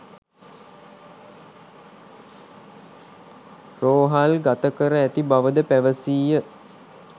රෝහල්ගත කර ඇති බවද පැවසීය